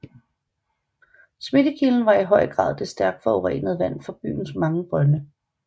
Smittekilden var i høj grad det stærkt forurenede vand fra byens mange brønde